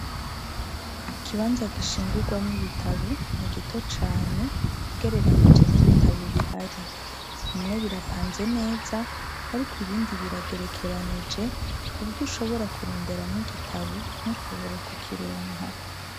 ikibanza gishingurwamu ibitabo ni gito cane ugereranije n'ibitabo bihari bimwe birapanze neza ariko ibindi biragerekeranije kuburyo ushobora kuronderamwo igitabo ntushobore kukironka